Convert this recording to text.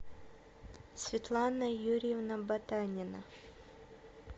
светлана юрьевна ботанина